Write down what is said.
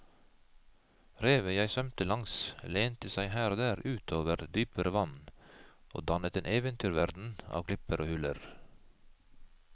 Revet jeg svømte langs lente seg her og der ut over dypere vann og dannet en eventyrverden av klipper og huler.